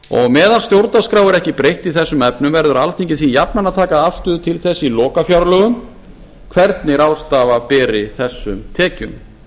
meðan stjórnarskrá er ekki breytt í þessum efnum verður alþingi því jafnan að taka afstöðu til þess í lokafjárlögum hvernig ráðstafa beri þessum tekjum